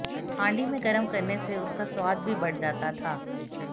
हांडी में गर्म करने से उसका स्वाद भी बढ़ जाता था